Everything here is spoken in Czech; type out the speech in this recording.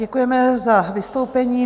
Děkujeme za vystoupení.